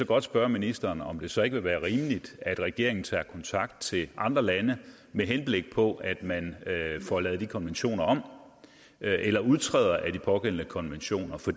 godt spørge ministeren om det så ikke vil være rimeligt at regeringen tager kontakt til andre lande med henblik på at man får lavet de konventioner om eller udtræder af de pågældende konventioner for